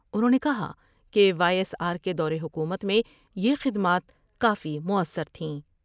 انہوں نے کہا کہ وائی ایس آر کے دورحکومت میں یہ خدمات کافی موثر تھیں ۔